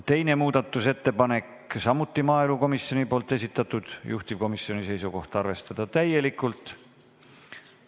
Teine muudatusettepanek, samuti maaelukomisjoni esitatud, juhtivkomisjoni seisukoht: arvestada täielikult.